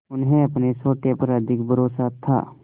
उन्हें अपने सोटे पर अधिक भरोसा था